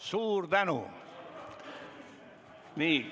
Suur tänu!